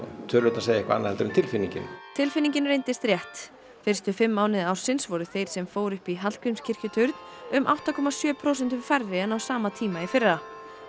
tölurnar segja eitthvað annað en tilfinningin tilfinningin reyndist rétt fyrstu fimm mánuði ársins voru þeir sem fóru upp í Hallgrímskirkjuturn um átta komma sjö prósentum færri en á sama tíma í fyrra